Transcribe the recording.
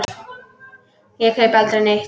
Ég kaupi aldrei neitt.